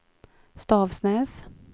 Stavsnäs